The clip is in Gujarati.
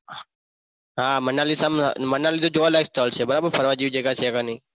હા મનાલી મનાલી તો જોવાલાયક સ્થળ છે બરાબર ફરવા જેવી જગ્યા છે કે ની.